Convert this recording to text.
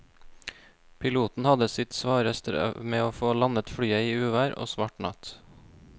Piloten hadde sitt svare strev med å få landet flyet i uvær og svart natt.